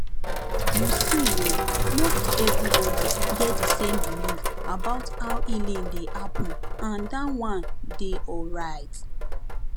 you see[um]no be everybody get the same belief about how healing dey happen and that one dey alright